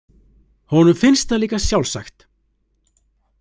Honum finnst það líka sjálfsagt.